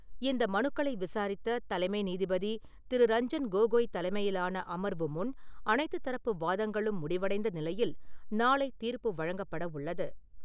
இந்த மனுக்களை விசாரித்த தலைமை நீதிபதி திரு. ரஞ்சன் கோகோய் தலைமையிலான அமர்வு முன் அனைத்துத் தரப்பு வாதங்களும் முடிவடைந்த நிலையில், நாளை தீர்ப்பு வழங்கப்பட உள்ளது.